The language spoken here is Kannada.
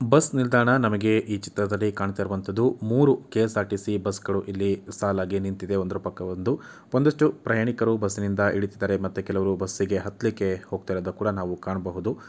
ಬಸ್ ನಿಲ್ದಾಣ ನಮಗೆ ಈ ಚಿತ್ರದಲ್ಲಿ ಕಾಣತ್ತಾ ಇರುವಂತದ್ದು ಮೂರು ಕೆ.ಎಸ್‌.ಆರ್‌.ಟಿ.ಸಿ. ಬಸ್‌ಗಳು ಇಲ್ಲಿ ಸಾಲಾಗಿ ನಿಂತಿದೆ ಒಂದರ ಪಕ್ಕ ಒಂದು. ಒಂದಷ್ಟು ಪ್ರಯಾಣಿಕರು ಬಸ್‌ ನಿಂದ ಇಳಿತಿದರೆ ಮತ್ತೆ ಕೆಲವರು ಬಸ್ಸಿಗೆ ಹತ್ಲಿಕ್ಕೆ ಹೋಗುತಿರೋದನ್ನ ಕೂಡ ನಾವು ಕಾಣಬಹುದು.